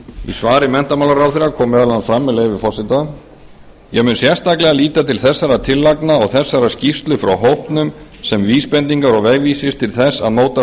í svari menntamálaráðherra kom meðal annars fram með leyfi forseta ég mun sérstaklega líta til þessara tillagna og þessarar skýrslu frá hópnum sem vísbendingar og vegvísi til þess að móta